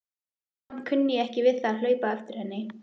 Samt kunni ég ekki við að hlaupa á eftir henni.